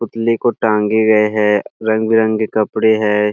पुतले को टांगे हुए है रंग बिरंगे कपडे है।